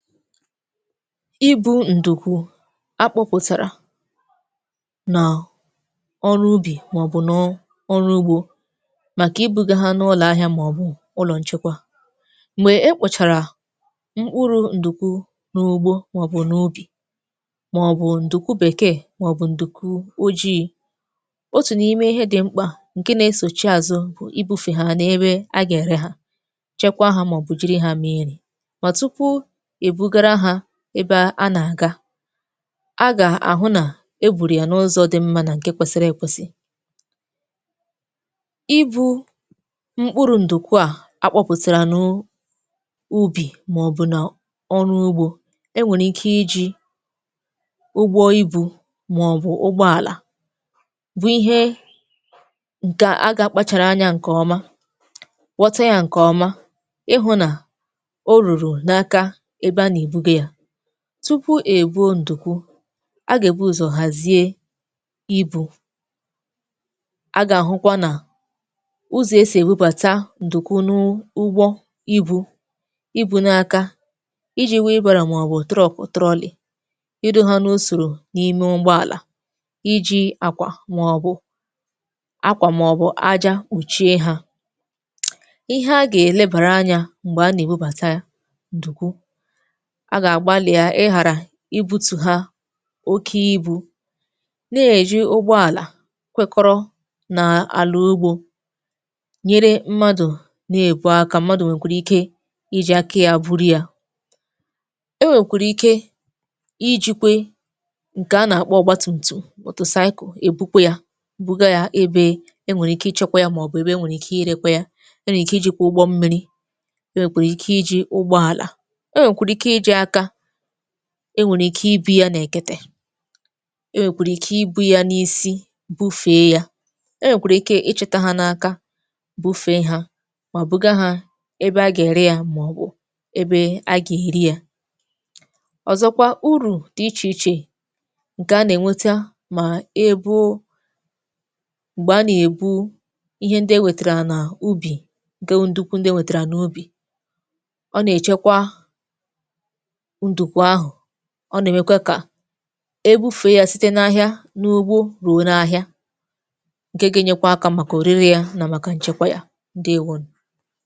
Ịbu ndukwu akụpụtara na ọrụ ubi ma ọ bụ n’ọrụ ugbo maka ibuga ha n’ụlọ ahịa ma ọ bụ ụlọ nchekwa. Mgbe e kpochara mkpụrụ ndukwu n’ugbo, ma ọ bụ n’ubi, ma ọ bụ ndukwu bekee ma ọ bụ ndukwu ojii̇, otu n’ime ihe dị mkpa nke na-esochi azụ bụ ịbu̇fe ha n’ebe a ga-ere ha, chekwa ha ma ọ bụ jiri ha mee nri. Ma tupu e bugara ha ebe a na-aga, a ga-ahụ na e buru ya n’ụzọ dị mma na nke kwesịrị ekwesị. Ibu mkpụrụ ndukwu a akụpụtara n’ubi ma ọ bụ na ọrụ ugbo, e nwere ike iji ụgbọ ibu ma ọ bụ ụgbọala, bụ ihe ga a ga-akpachara anya nke ọma, ghọta ya nke ọma, ịhụ na o ruru n’aka ebe a na-ebuga ya. Tupu e gwuo ndukwu, a ga ebụ ụzọ hazie ibu. A ga-ahụkwa na ụzọ e si ebubata ndukwu n’ụgbọ ibu, ibu n’aka, iji wheelbarrow ma ọ bụ truck trolley, ịdo ha n’usoro n’ime ụgbọala, iji akwa ma ọ bụ akwa ma ọ bụ aja kpuchie ha. Ihe a ga elebara anya mgbe a na-ebubata ya ndụkwu, a ga-agbalịa igịghara ịbutu ha oke ibu, na-eji ụgbọala kwekọrọ na ala ugbo nyere mmadụ na-ebu aka. Mmadụ nwekwara ike iji aka ya buru ya. E nwekwara ike ijikwa nke a na-akpọ ọgbatumtum motocycle ebukwa ya, buga ya ebe e nwere ike ichekwa ya ma ọ bụ ebe e nwere ike irekwa ya. E nwere ike ijikwa ụgbọ mmiri. E nwerekwara ike iji ụgbọeala. E nwere ike ibu ya n’ekete. E nwekwara ike ibu ya n’isi bufee ya. E nwekwara ike ichịta ha n’aka bufee ha ma buga ha ebe a ge-ere ya ma ọ bụ ebe a ga-eri ya. Ọzọkwa, uru dị iche iche, nke a na-enweta ma ebuo mgbe a na-ebu ihe ndị e wetara n’ubi nke bụ ndukwu ndị e wetara n’ubi. Ọ na-echekwa ndukwu ahu, ọ na-emekwa ka ebufee ya site n’ahịa n’ugbo ruo n’ahịa, nke ga-enyekwa aka maka orire ya na maka nchekwa ya. Ndewo nu